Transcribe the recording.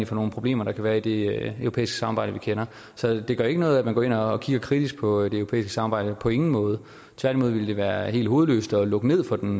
for nogle problemer der kan være i det europæiske samarbejde vi kender så det gør ikke noget at man går ind og kigger kritisk på det europæiske samarbejde på ingen måde tværtimod vil det være helt hovedløst at lukke ned for den